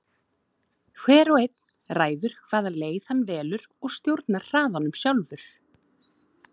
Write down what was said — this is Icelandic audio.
Hver og einn ræður hvaða leið hann velur og stjórnar hraðanum sjálfur.